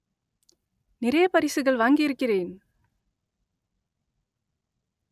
நிறைய பரிசுகள் வாங்கி இருக்கிறேன்